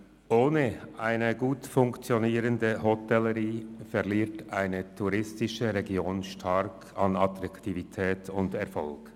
Ohne eine gut funktionierende Hotellerie verliert eine touristische Region stark an Attraktivität und Erfolg.